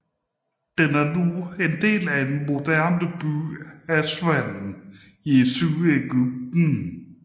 Den er nu en del af den moderne by Aswan i Sydegypten